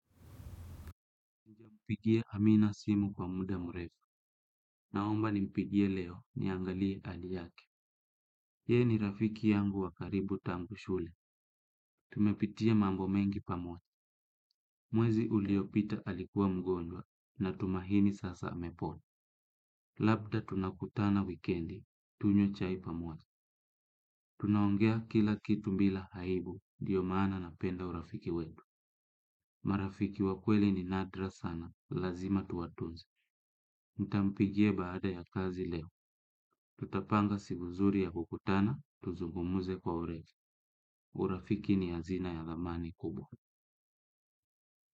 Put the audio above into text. Mpigie amina simu kwa muda murefu. Naomba nimpigie leo niangalie hali yake. Yeye ni rafiki yangu wakaribu tangu shule. Tumepitia mambo mengi pamoja. Mwezi uliopita alikuwa mgonjwa natumahini sasa amepona. Labda tunakutana wikendi. Tunywe chai pamoja. Tunaongea kila kitu bila aibu. Ndiyo maana napenda urafiki wetu. Marafiki wa kweli ni nadra sana. Lazima tuwatunze. Nitampigia baada ya kazi leo. Tutapanga siku zuri ya kukutana, tuzungumuze kwa urefu. Urafiki ni hazina ya thamani kubwa.